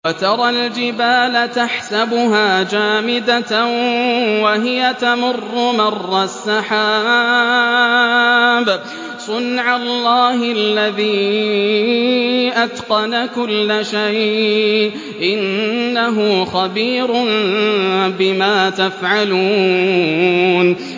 وَتَرَى الْجِبَالَ تَحْسَبُهَا جَامِدَةً وَهِيَ تَمُرُّ مَرَّ السَّحَابِ ۚ صُنْعَ اللَّهِ الَّذِي أَتْقَنَ كُلَّ شَيْءٍ ۚ إِنَّهُ خَبِيرٌ بِمَا تَفْعَلُونَ